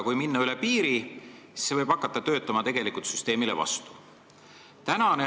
Kui minna üle piiri, siis see võib süsteemile vastu töötama hakata.